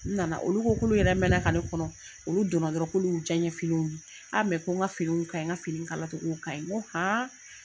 U nana olu ko k'olu yɛrɛ mɛɛnna ka ne kɔnɔ. Olu donna dɔrɔn k'olu y'u diyan finiw ye. Mɛ ko n ka finiw kaɲi n ka finiw kala cogow kaɲi. N ko